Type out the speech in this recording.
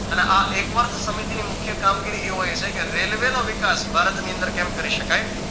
અને આ એકવર્ધ સમિતિ ની મુખ્ય કામગીરી એ હોય છે કે રેલવેનો વિકાશ ભારતની અંદર કેમ કરી શકાય